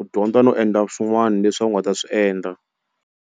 u dyondza no endla swin'wani leswi a wu nga ta swi endla.